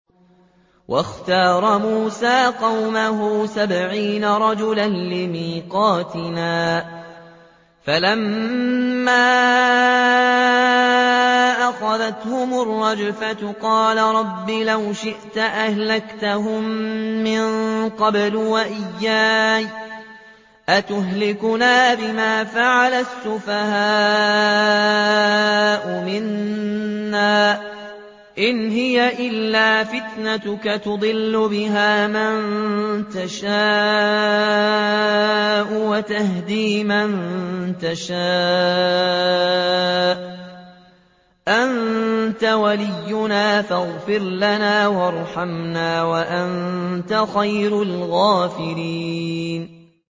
وَاخْتَارَ مُوسَىٰ قَوْمَهُ سَبْعِينَ رَجُلًا لِّمِيقَاتِنَا ۖ فَلَمَّا أَخَذَتْهُمُ الرَّجْفَةُ قَالَ رَبِّ لَوْ شِئْتَ أَهْلَكْتَهُم مِّن قَبْلُ وَإِيَّايَ ۖ أَتُهْلِكُنَا بِمَا فَعَلَ السُّفَهَاءُ مِنَّا ۖ إِنْ هِيَ إِلَّا فِتْنَتُكَ تُضِلُّ بِهَا مَن تَشَاءُ وَتَهْدِي مَن تَشَاءُ ۖ أَنتَ وَلِيُّنَا فَاغْفِرْ لَنَا وَارْحَمْنَا ۖ وَأَنتَ خَيْرُ الْغَافِرِينَ